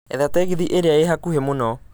etha tegithi ĩria ĩ hakuhi mũno